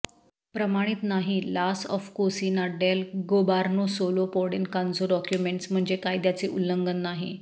प्रमाणित नाही लास ऑफ कोसिना डेल गॉबार्नो सोलो पॉडेन कन्झो डॉक्यूमेंट्स म्हणजे कायद्याचे उल्लंघन नाही